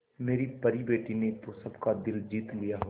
मेरी परी बेटी ने तो सबका दिल जीत लिया होगा